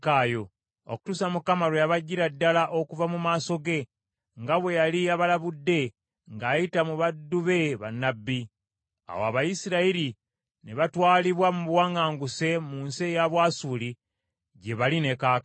okutuusa Mukama lwe yabaggyira ddala okuva mu maaso ge, nga bwe yali abalabudde ng’ayita mu baddu be bannabbi. Awo Abayisirayiri ne batwalibwa mu buwaŋŋanguse mu nsi eya Bwasuli, gye bali ne kaakano.